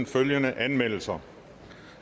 følgende anmeldelser